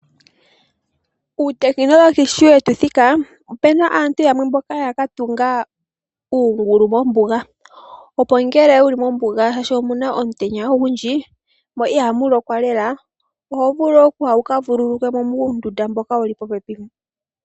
Uutechnology sho wetu thika opuna aantu yamwe mboka yaka tunga uungulu mombuga opo ngele wuli mombuga shashi omuna omutenya ogundji mo ihamu lokwa lela oho vulu okuya wuka vululukwe muundunda mboka wuli popepi.